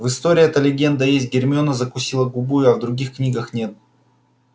в истории эта легенда есть гермиона закусила губу а в других книгах нет